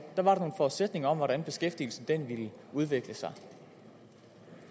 var der nogle forudsætninger om hvordan beskæftigelsen ville udvikle sig